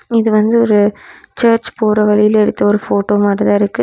இது வந்து ஒரு சர்ச் போற வழில எடுத்த ஒரு போட்டோ மாதிரி தா இருக்கு.